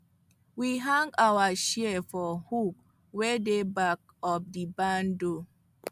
we hang our shears for hook wey dey back of the barn door